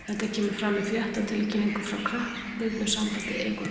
Þetta kemur fram í fréttatilkynningu frá knattspyrnusambandi Ekvador.